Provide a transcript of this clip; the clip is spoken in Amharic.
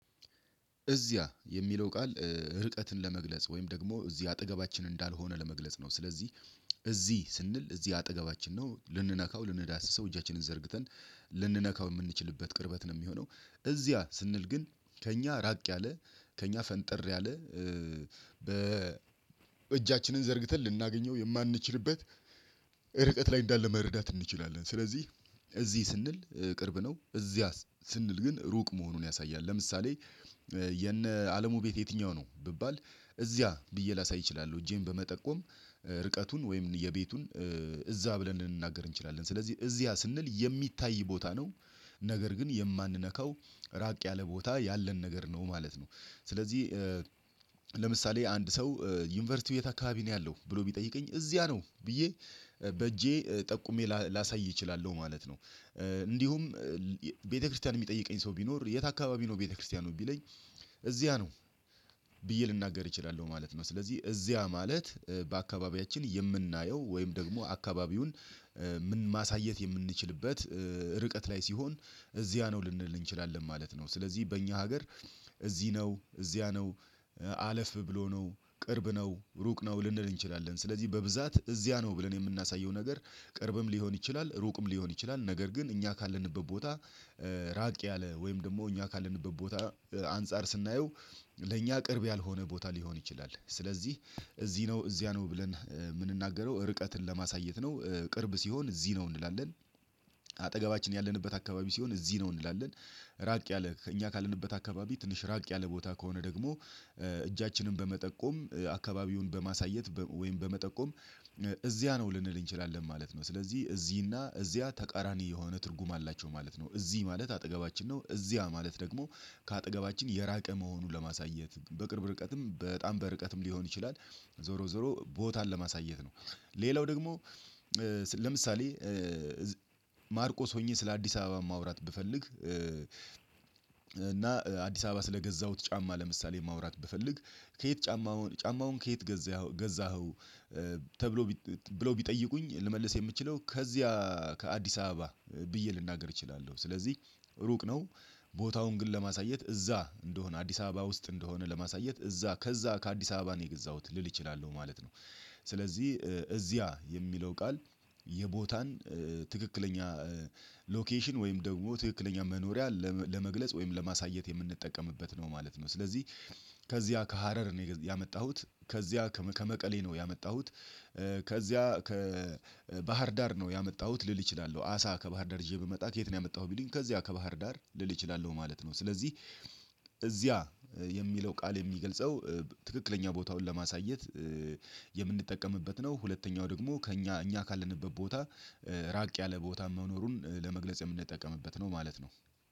እዚያ የሚለው ቃል ርቀትን ለመግለጽ ወይም ደግሞ እዚህ አጠገባችን እንዳልሆነ ለመግለጽ ነው። ስለዚህ እዚህ ስንል እዚህ አጠገባችን ነው ልንነካው ልንዳስሰው እጃችንን ዘርግተን ልንነካው የምንችልበት ቅርበት ነው የሚሆነው። እዚያ ስንል ግን ከእኛ ራቅ ያለ ከእኛ ፈንጥር ያለ በ በእጃችንን ዘርግተን ልናገኘው የማንችልበት ርቀት ላይ እንዳለ መረዳት እንችላለን። ስለዚህ እዚህ ስንል ቅርብ ነው እዚያ ስንል ግን ሩቅ መሆኑን ያሳያል። ለምሳሌ የነ አለሙ ቤት የትኛው ነው ብባል እዚያ ብዬ ላሳይ እችላለሁ። እጄን በመጠቆም ርቀቱን ወይም የቤቱን እዛ ብለን ልንናገር እንችላለን ስለዚህ እዚያ ስንል የሚታይ ቦታ ነው ነገር ግን የማንነካው ራቅ ያለ ቦታ ያለን ነገር ነው ማለት ነው። ስለዚህ ለምሳሌ አንድ ሰው ዩኒቨርሲቲው የት አካባቢ ነው ያለው ብሎ ቢጠይቀኝ እዚያ ነው ብዬ በእጄ ጠቁሜ ላሳይ እችላለሁ ማለት ነው። እንዲሁም ቤተክርስቲያን የሚጠይቀኝ ሰው ቢኖር የት አካባቢ ነው ቤተክርስቲያኑ ቢለኝ እዚያ ነው ብዬ ልናገር እችላለሁ ማለት ነው። ስለዚህ እዚያ ማለት በአካባቢያችን የምናየው ወይም ደግሞ አካባቢውን ማሳየት የምንችልበት ርቀት ላይ ሲሆን እዚያ ነው ልንል እንችላለን ማለት ነው። ስለዚህ በእኛ ሀገር እዚህ ነው እዚያ ነው አለፍ ብሎ ነው ቅርብ ነው ሩቅ ነው ልንል እንችላለን ስለዚህ በብዛት እዚያ ነው ብለን የምናሳየው ነገር ቅርብም ሊሆን ይችላል ሩቅም ሊሆን ይችላል። ነገር ግን እኛ ካለንበት ቦታ ራቅ ያለ ወይም ደግሞ እኛ ካለንበት ቦታ አንፃር ስናየው ለእኛ ቅርብ ያልሆነ ቦታ ሊሆን ይችላል። ስለዚህ እዚህ ነው እዚያ ነው ብለን የምንናገረው ርቀትን ለማሳየት ነው ቅርብ ሲሆን እዚህ ነው እንላለን አጠገባችን ያለንበት አካባቢ ሲሆን እዚህ ነው እንላለን። ራቅ ያለ እኛ ካለንበት አካባቢ ትንሽ ራቅ ያለ ቦታ ከሆነ ደግሞ እጃችንን በመጠቆም አካባቢውን በማሳየት ወይም በመጠቆም እዚያ ነው ልንል እንችላለን ማለት ነው። ስለዚህ እዚህ እና እዚያ ተቃራኒ የሆነ ትርጉም አላቸው ማለት ነው። እዚህ ማለት አጠገባችን ነው እዚያ ማለት ደግሞ ከአጠገባችን የራቀ መሆኑን ለማሳየት በቅርብ ርቀትም በጣም በርቀትም ሊሆን ይችላል ዞሮ ዞሮ ቦታን ለማሳየት ነው። ሌላው ደግሞ ስለ ለምሳሌ ማርቆስ ሆኜ ስለ አዲስ አበባ ማውራት ብፈልግ እና አዲስ አበባ ስለገዛሁት ጫማ ለምሳሌ ማውራት ብፈልግ ከየት ጫማውን ጫማውን ከየት ገዛኸው ገዛኸው ተብሎ ብሎ ቢጠይቁኝ ልመልስ የምችለው ከዚያ ከአዲስ አበባ ብዬ ልናገር እችላለሁ። ስለዚህ ሩቅ ነው ቦታውን ግን ለማሳየት እዛ እንደሆነ አዲስ አበባ እንደሆነ ለማሳየት እዛ ከዛ ከአዲስ አበባ ነው የገዛሁት ልል እችላለሁ ማለት ነው። ስለዚህ እዚያ የሚለው ቃል የቦታን ትክክለኛ ሎኬሽን ወይም ደግሞ ትክክለኛ መኖሪያ ለመግለጽ ወይም ለማሳየት የምንጠቀምበት ነው ማለት ነው። ስለዚህ ከዚያ ከሀረር ነው ያመጣሁት ከዚያ ከመቀሌ ነው ያመጣሁት ከዚያ ከባህር ዳር ነው ያመጣሁት ልል እችላለሁ አሳ ከባህር ዳር ይዤ ብመጣ ከየት ነው ያመጣሁት ቢልኝ ከዚያ ከባህር ዳር ልል እችላለሁ ማለት ነው። ስለዚህ እዚያ የሚለው ቃል የሚገልጸው ትክክለኛ ቦታውን ለማሳየት የምንጠቀምበት ነው ሁለተኛው ደግሞ ከእኛ እኛ ካለንበት ቦታ ራቅ ያለ ቦታ መኖሩን ለመግለጽ የምንጠቀምበት ነው ማለት ነው።